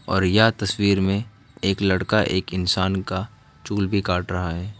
और यह तस्वीर में एक लड़का एक इंसान का चूल भी काट रहा हैं।